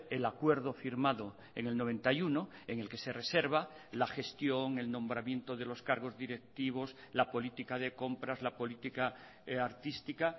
el acuerdo firmado en el noventa y uno en el que se reserva la gestión el nombramiento de los cargos directivos la política de compras la política artística